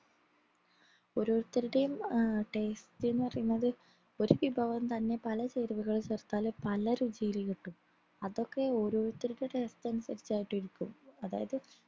ഓരോരുത്തരുടെയും ആഹ് taste എന്ന് പറയുന്നത് ഒരു വിഭവം തന്നെ പല ചേരുവകൾ ചേർത്താലേ പല രുചിയിൽ കിട്ടു അതൊക്കെ ഓരോരുത്തരുടെ taste അനുസരിച്ചായിട്ടിരിക്കുഅതായത്